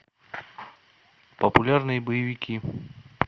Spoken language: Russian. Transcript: популярные боевики